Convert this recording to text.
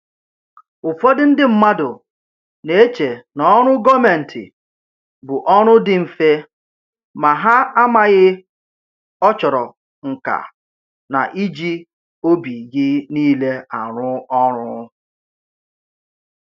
Ụfọdụ ndị mmadụ na-eche n'ọrụ gọọmentị bụ ọrụ dị mfe, ma ha amaghị ọ chọrọ nka na iji obi gị niile arụ ọrụ